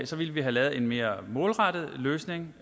så ville vi har lavet en mere målrettet løsning